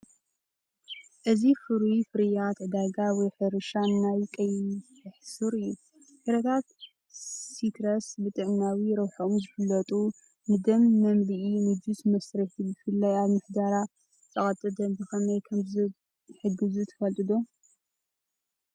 እዚ ፍሩይ ፍርያት ዕዳጋ ወይ ሕርሻ ናይ ቀሕይ ሱር እዩ። ፍረታት ሲትረስ ብጥዕናዊ ረብሓኦም ዝፍለጡ ፣ ንደም መምልኢ፣ ንጁስ መስርሒ፤ ብፍላይ ኣብ ምሕደራ ጸቕጢ ደም ብኸመይ ከምዝሕግዙ ትፈለጡ ዶ?